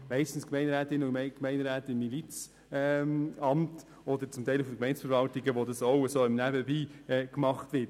Meistens sind es Gemeinderätinnen und Gemeinderäte im Milizamt oder zum Teil Gemeindeverwaltungen, bei denen das ebenfalls nebenbei gemacht wird.